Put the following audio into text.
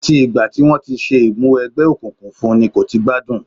Àti ìgbà tí wọ́n ti ṣe Ìmúwẹgbẹ́ òkùnkùn fún n kò ti gbádùn